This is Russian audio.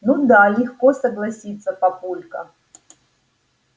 ну да легко согласиться папулька